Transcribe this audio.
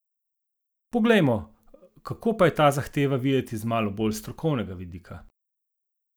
Poglejmo, kako pa je ta zahteva videti z malo bolj strokovnega vidika?